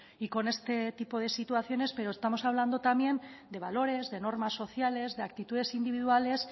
y con este tipo de situaciones pero estamos hablando también de valores de normas sociales de actitudes individuales